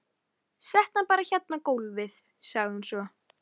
Settu hann bara hérna á gólfið, sagði hún svo.